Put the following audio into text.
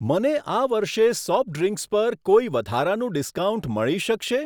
મને આ વર્ષે સોફ્ટ ડ્રીંક્સ પર કોઈ વધારાનું ડિસ્કાઉન્ટ મળી શકશે?